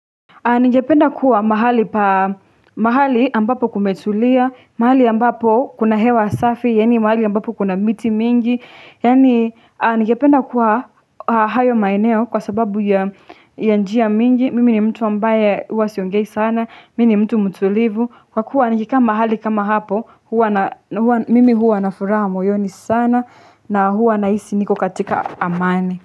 Ningependa kuwa mahali ambapo kumetulia, mahali ambapo kuna hewa safi, yani mahali ambapo kuna miti mingi, yani ningependa kuwa hayo maeneo kwa sababu ya njia mingi, mimi ni mtu ambaye huwa siongei sana, mimi ni mtu mtulivu, kwa kuwa nikikaa mahali kama hapo, mimi huwa na furaha moyoni sana, na huwa ninahisi niko katika amani.